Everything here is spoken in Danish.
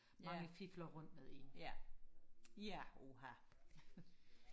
mange fifler rundt med en ja ja uha